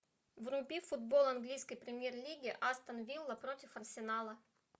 вруби футбол английской премьер лиги астон вилла против арсенала